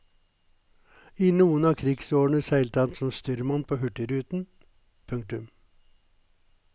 I noen av krigsårene seilte han som styrmann på hurtigruten. punktum